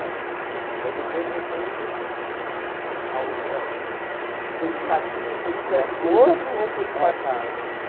É. Aí depois foi tendo... eh Foi escadinha, foi um perto do outro ou foi espaçado? É é